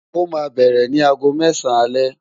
Ó ma bẹ̀rẹ̀ ni aago mẹ́sàn-án alẹ́